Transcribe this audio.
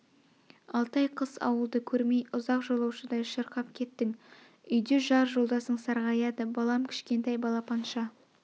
алты ай қыс ауылды көрмей ұзақ жолаушыдай шырқап кеттің үйде жар жолдасың сарғаяды балам кішкентай балапанша